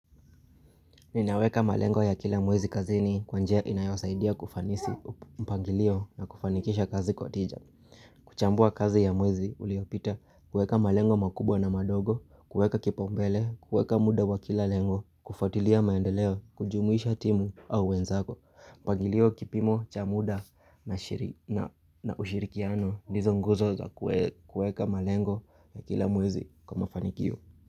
Ninaweka malengo ya kila mwezi kazini kwa njia inayosaidia kufanisi mpangilio na kufanikisha kazi kwa tija. Kuchambua kazi ya mwezi uliopita kuweka malengo makubwa na madogo, kuweka kipaombele, kuweka muda wa kila lengo, kufuatilia maendeleo, kujumuisha timu au wenzako. Mpangilio wa kipimo cha muda na ushirikiano ndizo nguzo za kuweka malengo ya kila mwezi kwa mafanikio.